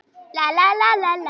Setjum hjartað í málið.